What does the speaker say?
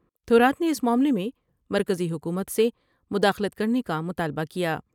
تھورات نے اس معاملے میں مرکزی حکومت سے مداخلت کرنے کا مطالبہ کیا ۔